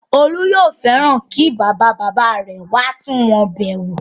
Olú yóò fẹ́ràn kí bàba-bàbá rẹ̀ wá tún wọn bẹ̀ wò.